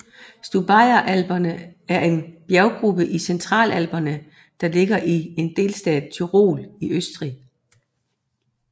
Stubaier Alperne er en bjerggruppe i Centralalperne der ligger i delstaten Tyrol i Østrig